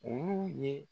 Olu ye